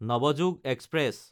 Navyug express